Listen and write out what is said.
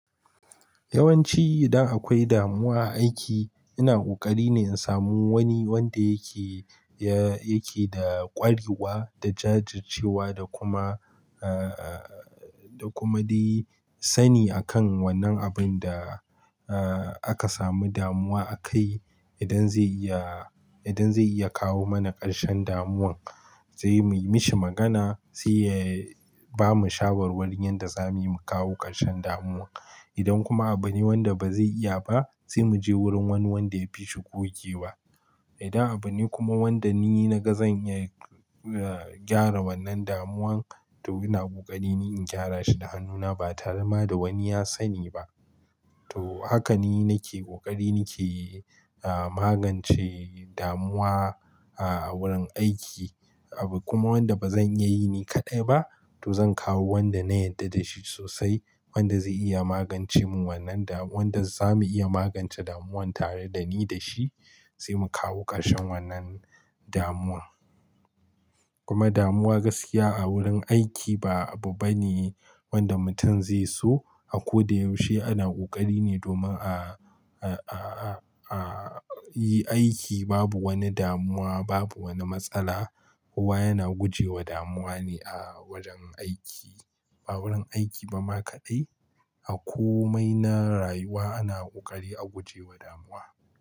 Yawanci idan akwai damuwa a aiki, ina ƙoƙari ne in samu wani wanda yake, ya, yake da ƙwarewa da jajircewa da kuma, eh, eh, eh, da kuma dai sani akan wannan abin da, eh, aka samu damuwa akai. Idan zai iya, idan zai iya kawo mana ƙarshen damuwan zai muyi mashi magana, sai ya bamu shawarwarin yadda zamu yi mu kawo ƙarshen damuwa. Idan kuma abu ne wanda ba zai iya ba, sai mu je wurin wani wanda ya fi shigogewa. Idan abu ne kuma wanda ni na ga zan iya, eh, gyara wannan damuwan to ina ƙoƙari ne in gyara shi da hannuna ba tarema da wani ya sani ba. To haka ni nake ƙoƙari nake, eh, magance damuwa, ah, a wurin aiki. Abu kuma wanda ba zan iya yi ni kaɗai ba to zan kawo wanda na yarda da shi sosai, wanda zai iya magance mu wannan damu-- wanda za mu iya magance damuwan tare dani da shi sai mu kawo ƙarshen wannan damuwa. Kuma damuwa gaskiya a wurin aiki ba abu bane wanda mutum zai so. A ko da yaushe ana ƙoƙari ne domin a, a, a, a, a yi aiki babu wani damuwa, babu wani matsala. Kowa yana guje wa damuwa ne a wajen aiki. A wurin aiki ba ma kaɗai, a komai na rayuwa ana ƙoƙari a guje wa damuwa.